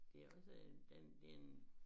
Det også en der en det en